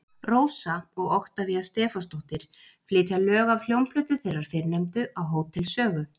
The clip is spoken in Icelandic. Rósa og Oktavía Stefánsdóttir flytja lög af hljómplötu þeirrar fyrrnefndu á Hótel Sögu.